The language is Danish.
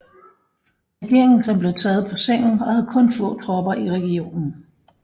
Regeringen som blev taget på sengen og havde kun få tropper i regionen